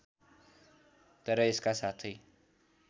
तर यसका साथै